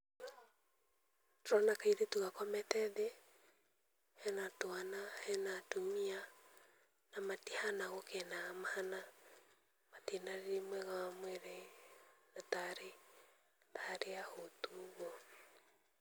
Ndĩrona kairĩtu gakomete thĩĩ, hena twana, hena atumia na matihana gũkena mahana matire na rĩrĩ mwega wa mwĩri na tarĩ ahũtu.